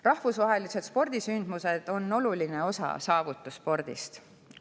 Rahvusvahelised spordisündmused on saavutusspordi oluline osa.